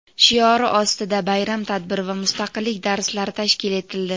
shiori ostida bayram tadbiri va "Mustaqillik darslari" tashkil etildi.